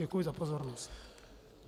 Děkuji za pozornost.